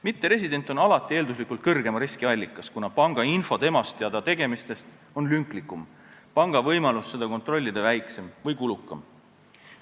Mitteresident on alati eelduslikult suurema riski allikas, kuna panga info tema ja ta tegemiste kohta on lünklikum, panga võimalus seda kontrollida väiksem või kulukam.